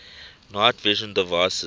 night vision devices